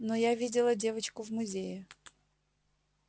но я видела девочку в музее